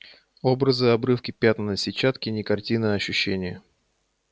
образы-обрывки пятна на сетчатке не картины а ощущения